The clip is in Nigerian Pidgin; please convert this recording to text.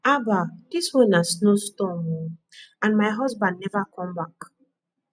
haba dis one na snow storm oo and my husband never come back